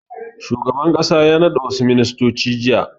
Shugaban ƙasa ya naɗa wasu ministoci jiya.